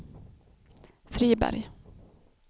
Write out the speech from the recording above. Friberg